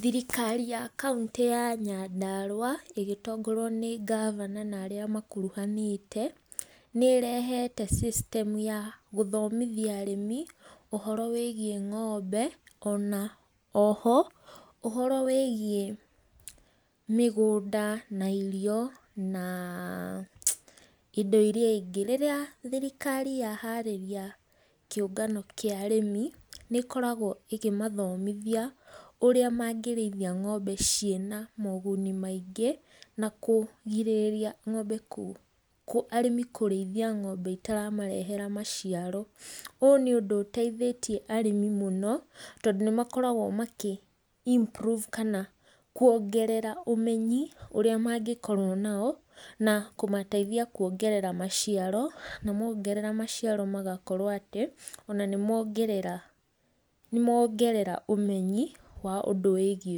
Thirikari ya kauntĩ ya Nyandarua, ĩgĩtongorio nĩ governor na arĩa makuruhanĩte, nĩ ĩrehete system ya gũthomithia arĩmi ũhoro wĩgiĩ ng'ombe, ona oho ũhoro wĩgiĩ mĩgũnda na irio, na indo iria ingĩ. Rĩrĩa thirikari ya harĩria kĩũngano kĩa arĩmi, nĩ ĩkoragwo ĩkĩ mathomithia ũrĩa mangĩrĩithia ng'ombe ciĩna moguni maingĩ, na kũgirĩrĩria ng'ombe arĩmi, kũrĩithia ng'ombe itaramarehera maciaro. Ũũ nĩ ũndũ ũteithĩtie arĩmi mũno, tondũ nĩ makoragwo makĩ improve kana kuongerera ũmenyi ũrĩa mangĩkorwo nao, na kũmateithia kuongerera maciaro, na mongerera maciaro magakorwo atĩ, ona nĩ mongerera nĩ mongerera ũmenyi wa ũndũ wĩgiĩ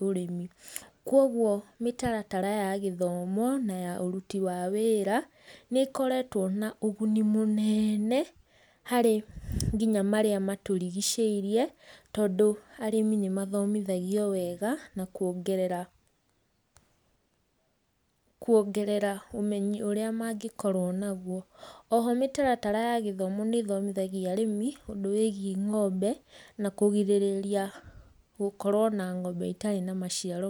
ũrĩmi. Koguo mĩtaratara ya gĩthomo na ya ũruti wa wĩra, nĩ ĩkoretwo na ũguni mũnene harĩ nginya marĩa matũrigicĩirie, tondũ arĩmi nĩ mathomithagio wega, na kwongerera kwongerera ũmenyi ũrĩa mangĩkorwo naguo. Oho mĩtaratara ya gĩthomo nĩ ĩthomithagia arĩmi, ũndũ wĩgiĩ ng'ombe, na kũgirĩrĩria gũkorwo na ng'ombe itarĩ na maciaro.